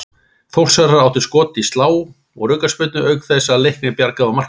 Þórsarar áttu skot í slá úr aukaspyrnu auk þess að Leiknir bjargaði á marklínu.